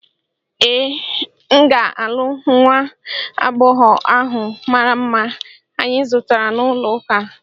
Ee, m ga-alụ nwa agbọghọ ahụ mara mma anyị zutere n'ụlọakụ.